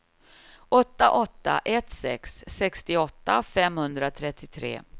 åtta åtta ett sex sextioåtta femhundratrettiotre